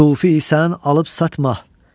Sufi isən alıb satma.